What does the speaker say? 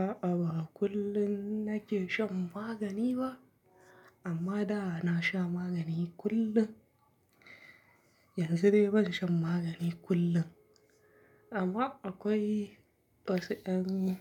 A'a, ba kullum nake shan magani ba, amma da na sha magani kullum, yanzu dai ban shan magani kullum. Amma akwai wasu yan